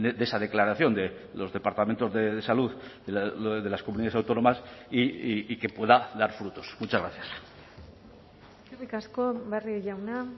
de esa declaración de los departamentos de salud de las comunidades autónomas y que pueda dar frutos muchas gracias eskerrik asko barrio jauna